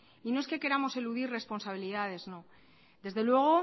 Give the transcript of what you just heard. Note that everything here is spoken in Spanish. y no es que queramos eludir responsabilidades no desde luego